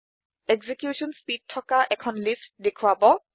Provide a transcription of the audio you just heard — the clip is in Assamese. এক্সিকিউশ্যন স্পীড থকা এখন তালিকা দেখোৱাব